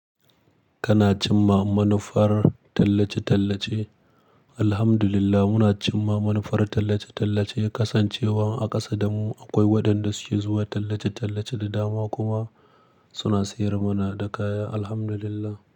Kana cimma manufar tallace-tallace. Alhamdulillah, muna cimma manufar tallace-tallace, kasancewa a ƙasa damu akwai waɗanda suke zuwa tallace-tallace da dama kuma suna sayar mana da kaya Alhamdulillah.